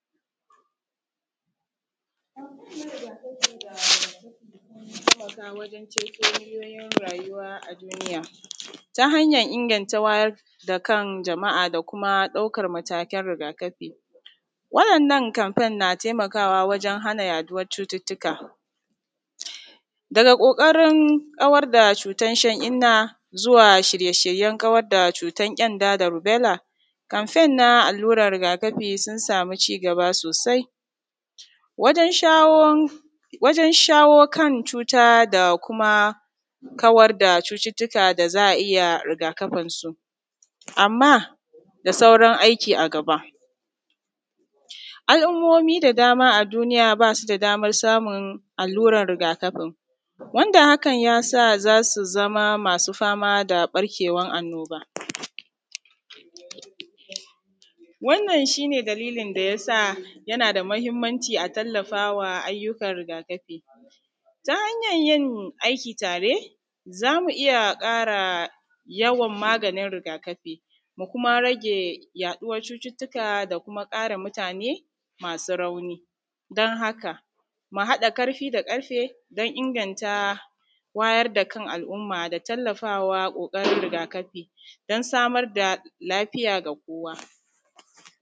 Taimaka wajen ceto miliyoyin rayuwa a duniya hanyan ingantar da wayar da kan jama’a da kuma ɗaukan matakan waɗanan kamfen na taimakawa wajen haɗa yaɗuwannan cututtuka daga ƙoƙarin kawar da cutan shan inna zuwa shirye shiryen kawar da kyenda, da rubella kamfen na alluran rigakafi sun samu cigaba sosai wajen shawon kan cuta da kuma kawar da cututtuka da za a iya rigakafinsu. Amma da sauran aiki a gaba, al’ummomi da dama a duniya ba su da daman samun alluran rigakafin wanda hakan ya sa za su zama masu zama da ɓarkewan annoba, wannan shi ne dalili da yasa yanada mahinmanci a tallafama wa alluran rigakafi. Ta hanyan yin aiki tare za mu iya ƙara yawan maganin rigakafi mu kuma rage yaɗuwar cututtuka da kuma ƙare mutane masu rauni dan haka mu haɗa ƙarfi da ƙarfe dan inganta wayar da kan al’umma da tallafawa ƙoƙarin rigakafi dan samar da lafiya da kowa.